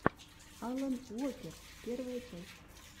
алан уокер первая часть